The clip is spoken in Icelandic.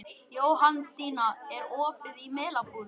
Jóhanndína, er opið í Melabúðinni?